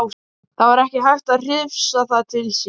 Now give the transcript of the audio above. Það var ekki hægt að hrifsa það til sín.